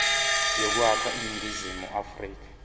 yokwakha iningizimu afrika